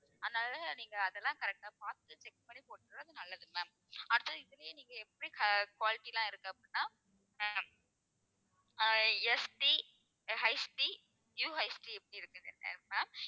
அதனால தான் நீங்க அதெல்லாம் correct ஆ பார்த்துட்டு check பண்ணி போட்டுக்கறது நல்லது ma'am. அடுத்தது இதுலயே நீங்க எப்படி க~ quality எல்லாம் இருக்கு அப்படின்னா ah ah SD ah HDUHD இப்படி ma'am